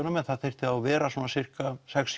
en það þyrfti þá að vera svona sirka sex